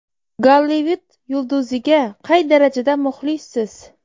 Gollivud yulduziga qay darajada muxlissiz?.